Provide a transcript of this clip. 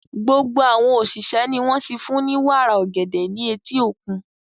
Gbogbo àwọn òṣìṣẹ́ ni wọ́n ti fún ní wàrà ọ̀gẹ̀dẹ̀ ní etí òkun.